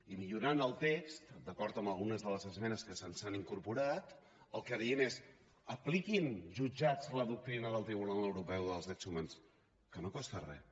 i millorant el text d’acord amb algunes de les esmenes que s’hi han incorporat el que diem és apliquin jutjats la doctrina del tribunal europeu dels drets humans que no costa res